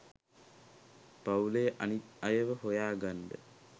පවුලෙ අනිත් අයව හොයා ගන්න